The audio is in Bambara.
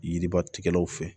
Yiriba tigɛlaw fɛ